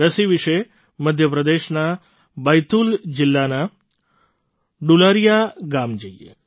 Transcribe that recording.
રસી વિશે મધ્ય પ્રદેશના બૈતૂલ જિલ્લાના ડુલારિયા ગામ જઈએ